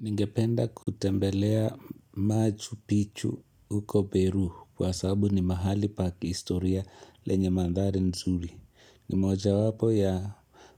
Ningependa kutembelea machu pichu uko Peru kwa sabu ni mahali pakistoria lenye mandhari nzuri. Nimoja wapo ya